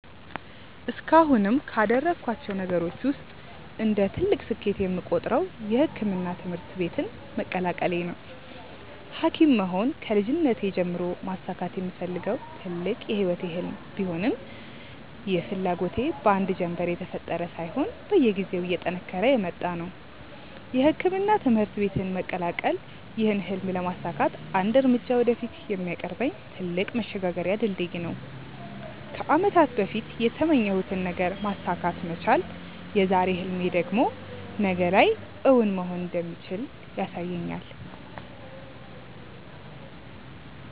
እስካሁንም ካደረኳቸው ነገሮች ውስጥ እንደ ትልቅ ስኬት የምቆጥረው የሕክምና ትምህርት ቤትን መቀላቀሌ ነው። ሀኪም መሆን ከልጅነቴ ጀምሮ ማሳካት የምፈልገው ትልቅ የህይወቴ ህልም ቢሆንም ይህ ፍላጎቴ በአንድ ጀንበር የተፈጠረ ሳይሆን በየጊዜው እየጠነከረ የመጣ ነው። የሕክምና ትምህርት ቤትን መቀላቀል ይህን ህልም ለማሳካት አንድ እርምጃ ወደፊት የሚያቀርበኝ ትልቅ መሸጋገሪያ ድልድይ ነው። ከአመታት በፊት የተመኘሁትን ነገር ማሳካት መቻል የዛሬ ህልሜ ደግሞ ነገ ላይ እውን መሆን እንደሚችል ያሳየኛል።